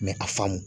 a faamu